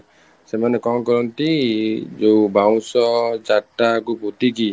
ସେମାନେ କ'ଣ କରନ୍ତି ଯୋଉ ବାଉଁଶ ଚାରିଟା କୁ ପୋତି କି